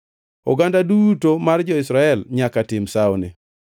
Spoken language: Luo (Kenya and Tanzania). Oganda duto mar jo-Israel nyaka tim sawoni.